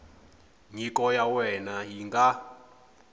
nyiko ya wena yi nga